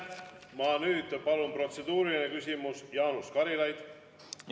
Ma nüüd palun, protseduuriline küsimus, Jaanus Karilaid!